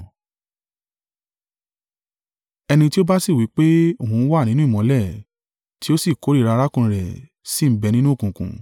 Ẹni tí ó bá sì wí pé òun ń wà nínú ìmọ́lẹ̀, tí ó sì kórìíra arákùnrin rẹ̀ sì ń bẹ nínú òkùnkùn.